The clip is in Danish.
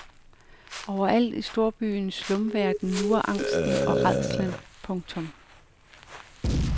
Overalt i storbyens slumverden lurer angsten og rædslen. punktum